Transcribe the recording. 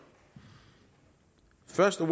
først er